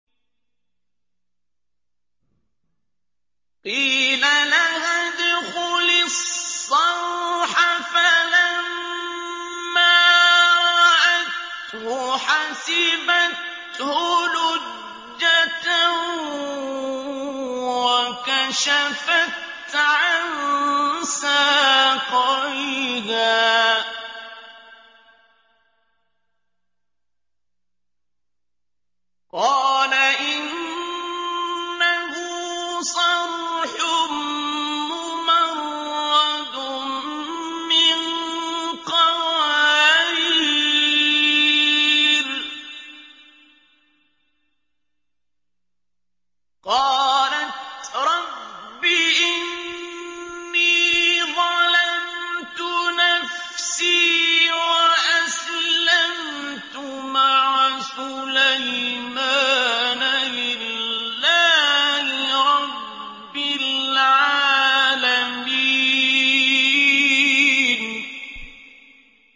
قِيلَ لَهَا ادْخُلِي الصَّرْحَ ۖ فَلَمَّا رَأَتْهُ حَسِبَتْهُ لُجَّةً وَكَشَفَتْ عَن سَاقَيْهَا ۚ قَالَ إِنَّهُ صَرْحٌ مُّمَرَّدٌ مِّن قَوَارِيرَ ۗ قَالَتْ رَبِّ إِنِّي ظَلَمْتُ نَفْسِي وَأَسْلَمْتُ مَعَ سُلَيْمَانَ لِلَّهِ رَبِّ الْعَالَمِينَ